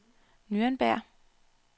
Nürnberg